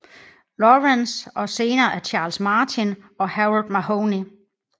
Lawrence og senere af Charles Martin og Harold Mahony